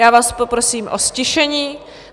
Já vás poprosím o ztišení.